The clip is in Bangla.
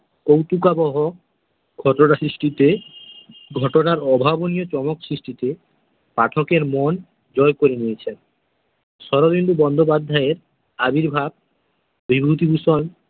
কৌতুকাবহ রচনা সৃষ্টিতে, ঘটনার অভাবনীয় চমক সৃষ্টিতে, পাঠকের মন জয় করে নিয়েছেন। শরদিন্দু বন্দ্যোপাধ্যায়ের আবির্ভাব বিভূতিভূষণ।